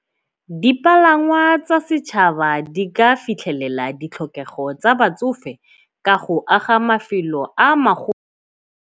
Dipalangwa tsa setšhaba di ka fitlhelela ditlhokego tsa batsofe ka go aga mafelo a .